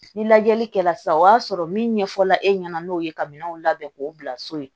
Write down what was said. Ni lajɛli kɛla sisan o y'a sɔrɔ min ɲɛfɔla e ɲɛna n'o ye ka minɛnw labɛn k'o bila so ye